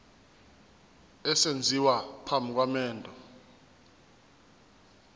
esenziwa phambi komendo